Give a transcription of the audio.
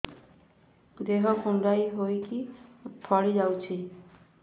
ଦେହ କୁଣ୍ଡେଇ ହେଇକି ଫଳି ଯାଉଛି